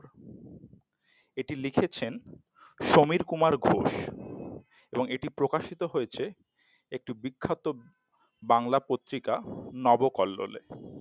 এটি লিখেছেন সমীর কুমার ঘোষ এবং এটি প্রকাশিত হয়েছে একটি বিখ্যাত বাংলা পত্রিকা নব কল্লোলে ।